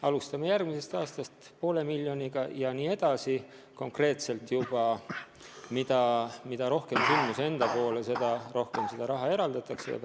Alustame järgmisel aastal poole miljoniga ja siis konkreetselt edasi: mida rohkem sündmuse poole, seda rohkem raha eraldatakse.